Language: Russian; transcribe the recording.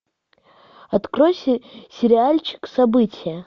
открой сериальчик событие